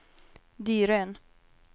Dyrön